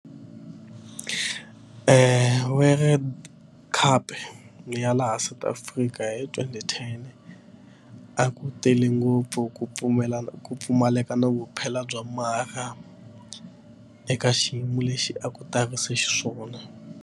World cup ya laha South Africa hi twenty ten a ku tele ngopfu ku pfumelana ku pfumaleka na vuphelo bya eka xiyimo lexi a ku tarise xiswona.